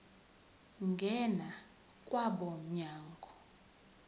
ngena kwabo mnyango